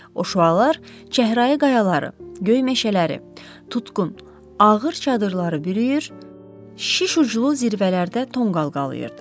O şüalar çəhrayı qayaları, göy meşələri, tutqun, ağır çadırları bürüyür, şiş uclu zirvələrdə tonqal qalıyırdı.